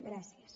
gràcies